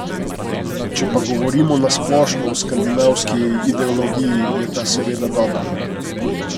Če pa govorimo na splošno o skandinavski ideologiji, je ta seveda dobra.